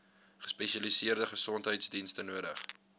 gespesialiseerde gesondheidsdienste nodig